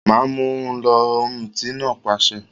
Ma mú un lọ! Ọ̀mùtí náà pàṣẹ